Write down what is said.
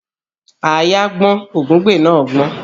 Àáyá gbọ́n ògúngbè náà gbọ́n